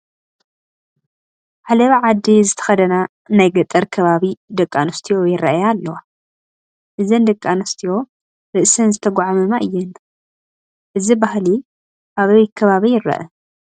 ዓለባ ዓዲ ዝተኸደና ናይ ገጠር ከባቢ ደቂ ኣንስትዮ ይርአያ ኣለዋ፡፡ እዘን ደቂ ኣንስትዮ ርእሰን ዝተጓዕመማ እየን፡፡ እዚ ባህሊ ኣበይ ከባቢ ይርአ?